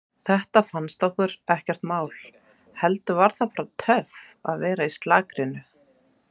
Þetta fannst okkur ekkert mál, heldur var það bara töff að vera í slarkinu.